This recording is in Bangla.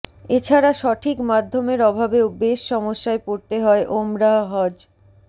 এছাড়া সঠিক মাধ্যমের অভাবেও বেশ সমস্যায় পড়তে হয় ওমরাহ হজ